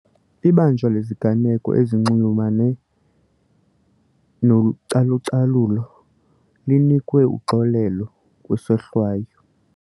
Ibanjwa leziganeko ezinxulumane nocalucalulo linikwe uxolelo kwisohlwayo.